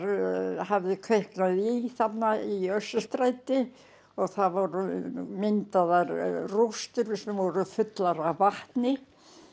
hafði kviknað í þarna í Austurstræti og það voru myndaðar rústir sem voru fullar af vatni